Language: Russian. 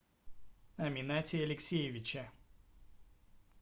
аминате алексеевиче